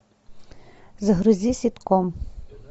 загрузи ситком